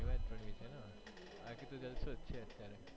બાકી તો જણસોજ છે અત્યારે